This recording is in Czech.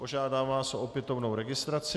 Požádám vás o opětovnou registraci.